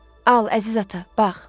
Al, əziz ata, bax.